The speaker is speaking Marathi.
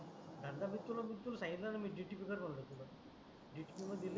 धंदा मी मी तुला संगितलन dtv कार म्हणल तुला dtv मध्ये लय